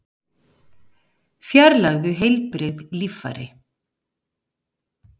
Fjarlægðu heilbrigð líffæri